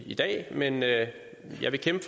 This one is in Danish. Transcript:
i dag men jeg vil kæmpe